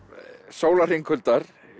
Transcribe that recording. Sólarhringl Huldar